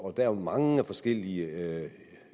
er jo mange forskellige